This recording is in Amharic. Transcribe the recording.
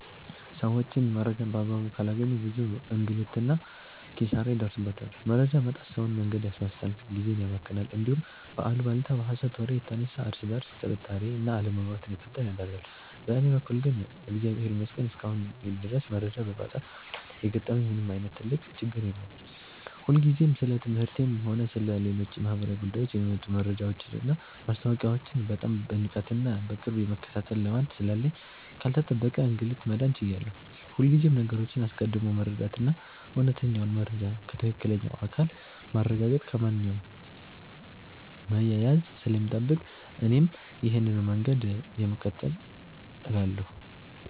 ሰዎች መረጃን በአግባቡ ካላገኙ ብዙ እንግልትና ኪሳራ ይደርስባቸዋል። መረጃ ማጣት ሰውን መንገድ ያሳስታል፣ ጊዜን ያባክናል፣ እንዲሁም በአሉባልታና በሐሰት ወሬ የተነሳ እርስ በርስ ጥርጣሬና አለመግባባት እንዲፈጠር ያደርጋል። በእኔ በኩል ግን እግዚአብሔር ይመስገን እስካሁን ድረስ መረጃ በማጣት ምክንያት የገጠመኝ ምንም ዓይነት ትልቅ ችግር የለም። እኔ ሁልጊዜም ስለ ትምህርቴም ሆነ ስለ ሌሎች ማኅበራዊ ጉዳዮች የሚወጡ መረጃዎችንና ማስታወቂያዎችን በጣም በንቃትና በቅርብ የመከታተል ልማድ ስላለኝ ካልተጠበቀ እንግልት መዳን ችያለሁ። ሁልጊዜም ነገሮችን አስቀድሞ መረዳትና እውነተኛውን መረጃ ከትክክለኛው አካል ማረጋገጥ ከማንኛውም መያያዝ ስለሚጠብቅ እኔም ይሄንኑ መንገድ ነው የምከተለው እላለሁ።